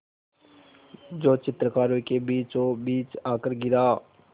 जो चित्रकारों के बीचोंबीच आकर गिरा